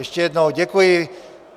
Ještě jednou děkuji.